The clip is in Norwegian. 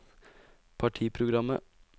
partiprogrammet